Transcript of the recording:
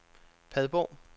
Padborg